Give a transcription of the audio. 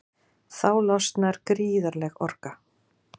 Þá losnar gríðarleg orka.